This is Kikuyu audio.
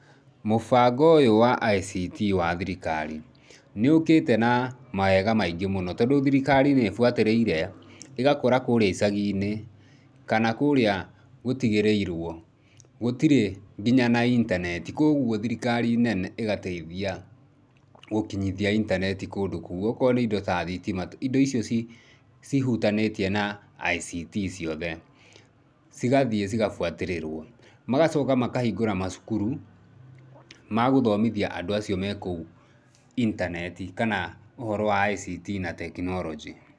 Mũbango ũyũ wa ICT wa thirikari nĩũkĩte na mawega maingĩ mũno, tondũ thirikari nĩĩbuatĩrĩire ĩgakora kũrĩa icagi-inĩ kana kũrĩa gũtigĩrĩirwo gũtirĩ nginya na intaneti, koguo thirikari nene ĩgateithia gũkinyithia intaneti kũndũ kũu. Okorwo nĩ indo ta thitima, indo icio cihutanĩtie na ICT ciothe cigathiĩ cigabuatĩrĩrwo. Magacoka makahingũra macukuru magũthomithia andũ acio me kũu intaneti kana ũhoro wa ICT na tekinoronjĩ.